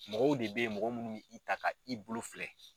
Mɔgɔw de be yen, mɔgɔ munnu b'i ta ka i bolo filɛ.